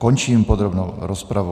Končím podrobnou rozpravu.